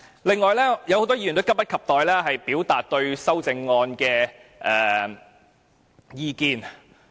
此外，很多議員也急不及待表達對修正案的意見。